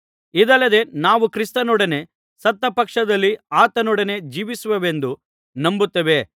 ಇದಲ್ಲದೆ ನಾವು ಕ್ರಿಸ್ತನೊಡನೆ ಸತ್ತ ಪಕ್ಷದಲ್ಲಿ ಆತನೊಡನೆ ಜೀವಿಸುವೆವೆಂದು ನಂಬುತ್ತೇವೆ